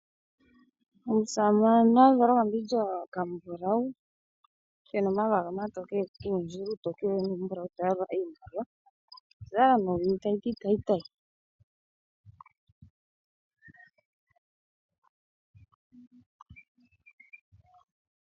Omusamane azala okambindja okambulawu, kena omayala omatokele nlkuundjila uutokele nuumbulawu taya lula iimaliwa, okwazala nee owili tayiti tayi tayi.